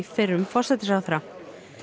fyrrum forsætisráðherra